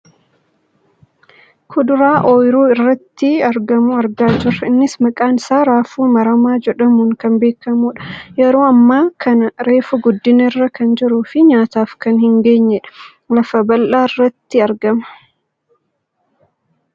Kuduraa ooyiruu irratti argamu argaa jirra . Innis maqaan isaa raafuu maramaa jedhamuun kan beekkamudha. Yeroo ammaa kana reefu guddina irra kan jiruufi nyaataaf kan hin geenyedha. Lafa bal'aarratti argama.